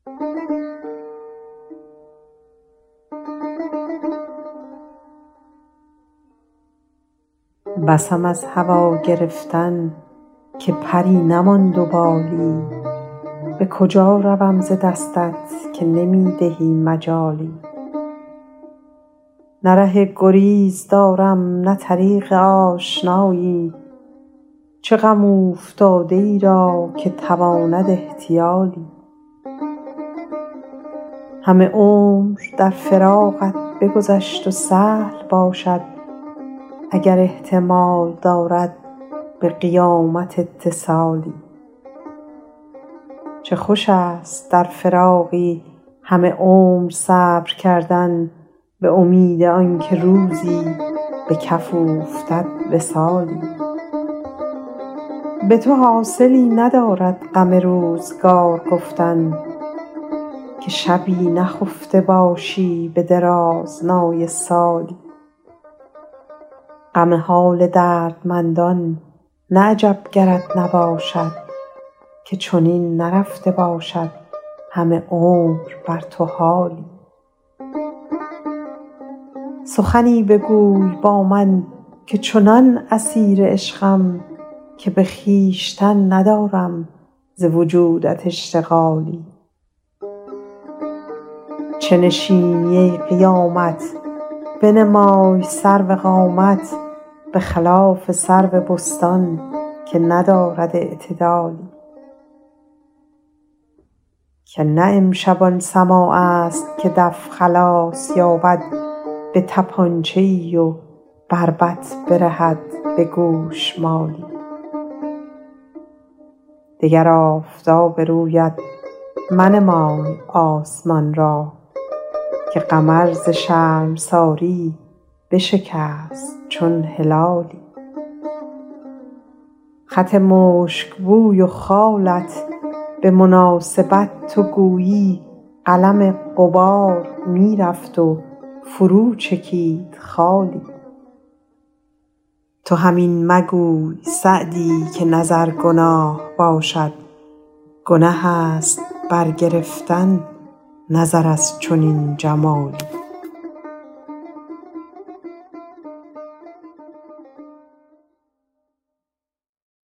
بسم از هوا گرفتن که پری نماند و بالی به کجا روم ز دستت که نمی دهی مجالی نه ره گریز دارم نه طریق آشنایی چه غم اوفتاده ای را که تواند احتیالی همه عمر در فراقت بگذشت و سهل باشد اگر احتمال دارد به قیامت اتصالی چه خوش است در فراقی همه عمر صبر کردن به امید آن که روزی به کف اوفتد وصالی به تو حاصلی ندارد غم روزگار گفتن که شبی نخفته باشی به درازنای سالی غم حال دردمندان نه عجب گرت نباشد که چنین نرفته باشد همه عمر بر تو حالی سخنی بگوی با من که چنان اسیر عشقم که به خویشتن ندارم ز وجودت اشتغالی چه نشینی ای قیامت بنمای سرو قامت به خلاف سرو بستان که ندارد اعتدالی که نه امشب آن سماع است که دف خلاص یابد به طپانچه ای و بربط برهد به گوشمالی دگر آفتاب رویت منمای آسمان را که قمر ز شرمساری بشکست چون هلالی خط مشک بوی و خالت به مناسبت تو گویی قلم غبار می رفت و فرو چکید خالی تو هم این مگوی سعدی که نظر گناه باشد گنه است برگرفتن نظر از چنین جمالی